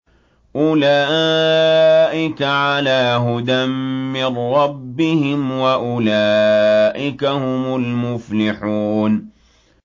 أُولَٰئِكَ عَلَىٰ هُدًى مِّن رَّبِّهِمْ ۖ وَأُولَٰئِكَ هُمُ الْمُفْلِحُونَ